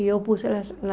E eu pus as as